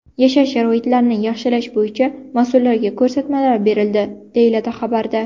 Yashash sharoitlarini yaxshilash bo‘yicha mas’ullarga ko‘rsatmalar berildi”, deyiladi xabarda.